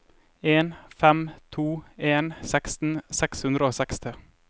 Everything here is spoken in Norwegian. en fem to en seksten seks hundre og seksti